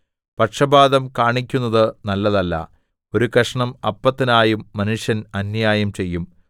പക്ഷപാതം കാണിക്കുന്നത് നല്ലതല്ല ഒരു കഷണം അപ്പത്തിനായും മനുഷ്യൻ അന്യായം ചെയ്യും